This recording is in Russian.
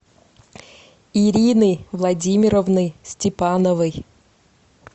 ирины владимировны степановой